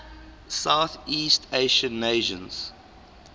southeast asian nations